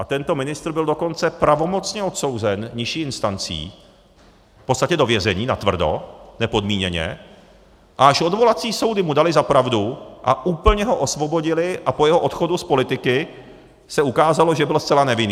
A tento ministr byl dokonce pravomocně odsouzen nižší instancí v podstatě do vězení, natvrdo, nepodmíněně, a až odvolací soudy mu daly za pravdu a úplně ho osvobodily a po jeho odchodu z politiky se ukázalo, že byl zcela nevinný.